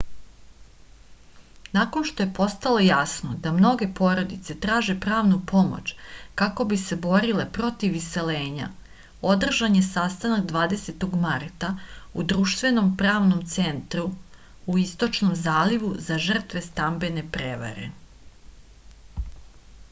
nakon što je postalo jasno da mnoge porodice traže pravnu pomoć kako bi se borile protiv iseljenja održan je sastanak 20. marta u društvenom pravnom centru u istočnom zalivu za žrtve stambene prevare